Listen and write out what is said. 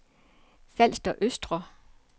Falster Østre